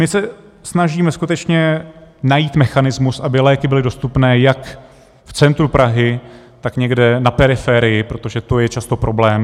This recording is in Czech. My se snažíme skutečně najít mechanismus, aby léky byly dostupné jak v centru Prahy, tak někde na periferii, protože to je často problém.